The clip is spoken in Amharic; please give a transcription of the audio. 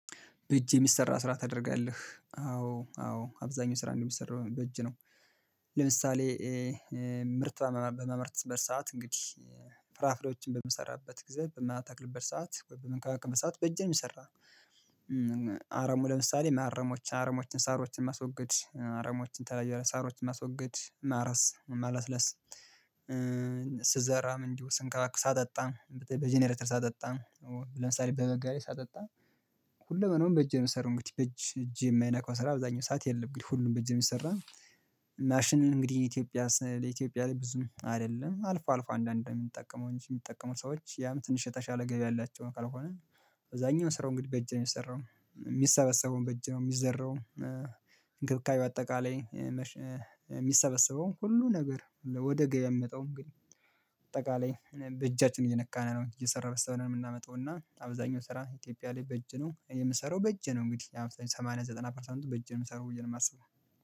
በእጅ የሚሰራ ስራ ታደርጋለህ አዎ አዎ አብዛኛው ስራ የሚሰራው በእጅ ነው። ለምሳሌ ምርት በማመርትበት በሰአት እንግዲህ ፍራፍሬዎችን በምሰራበት ጊዜ በምተክልበት ሰዓት ወይ በምንከባከብበት ሰዓት በእጄ ነው የሚሰራው። አረሙ ለምሳሌ ማረሞች አረሞችን ሳሮችን ማስወገድ አረሞችን የተለያዩ ሳሮችን ማስወገድ ማረስ ማለስለስ። ስዘራም እንዲሁ ስንከባከብ ሳጠጣ በጀነሬተር ሳጠጣ ለምሳሌ በበጋ ላይ ሳጠጣ ሁለመናውን በእጄ የምሰራው እንግዲህ በእጄ የማያነካው ስራ አብዛኛው ሰዓት የለም። እንግዲህ ሁሉም በእጄ ነው ሚሰራው ማሽን እንግዲህ ኢትዮጵያ ስለሌለ ኢትዮጵያ ላይ ብዙም አይደለም አልፎ አልፎ አንዳንድ ነው የምንጠቀመው የሚጠቀሙ ሰዎች ያም ትንሽ የተሻለ ገቢ ያላቸው ካልሆነ በብዛኛው ስራው እንግዲህ በእጅ ነው የሚሰራው የሚሰበሰበውም በእጅ ነው የሚዘራውም። እንክብካቤ በአጠቃላይ ላይ የሚሰበሰበውን ሁሉ ነገር ወደ ገበያ የሚመጣውም እንግዲህ በጠቃላይ በእጃችን እየነካን ነው እየሰራን ስለሆነ የምናመጣው እና አብዛኛው ስራ ኢትዮጵያ ላይ በእጅ ነው የምሰራው በእጄ ነው። እንግዲህ አብዛኛው ሰማንያ ዘጠና ፐርሰንቱ በእጄ የምሰራው ብዬ ነው የማስበው